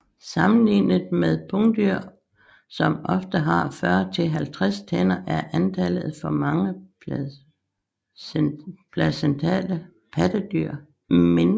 Sammenlignet med pungdyr som ofte har 40 til 50 tænder er antallet for mange placentale pattedyr mindre